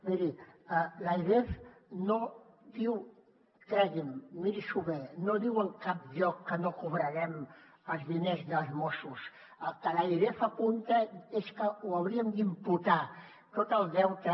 miri l’airef no diu cregui’m miri s’ho bé en cap lloc que no cobrarem els diners dels mossos al que l’airef apunta és que ho hauríem d’imputar tot el deute